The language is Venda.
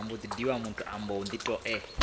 vha hu khou ambiwa nga